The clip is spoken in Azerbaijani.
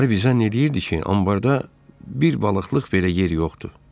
Harvey zənn eləyirdi ki, anbarda bir balıqlıq belə yer yoxdur.